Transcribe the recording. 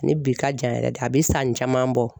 Ani bi ka jan yɛrɛ de a bi san caman bɔ